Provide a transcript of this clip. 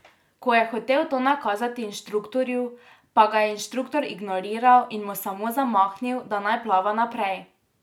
Ko je hotel to nakazati inštruktorju, pa ga je inštruktor ignoriral in mu samo zamahnil, da naj plava naprej.